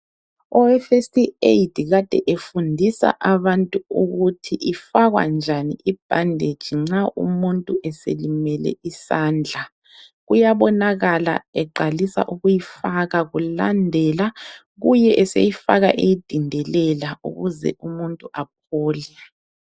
Owe First Aid kade efundisa abantu ukuthi ifakwa njani i bandage nxa umuntu eselimele isandla. Kuyabonakala eqalisa ukuyifaka. Kulandela kuye eseyifaka eyidindelela ukuze umuntu aphole.